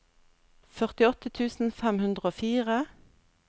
førtiåtte tusen fem hundre og fire